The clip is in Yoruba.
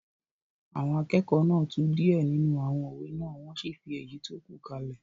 Àwọn akẹ́kọ̀ọ́ náà tú díẹ̀ nínú àwọn òwe náà wọ́n sì fi èyí tó kù kalẹ̀